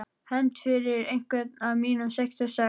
Hefnd fyrir einhvern af mínum sextíu og sex.